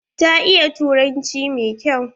Ta iya turanci mai kyau.